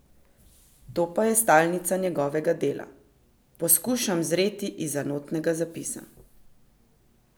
To pa je stalnica njegovega dela: "Poskušam zreti izza notnega zapisa".